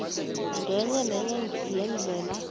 ngenye nenye yeendlela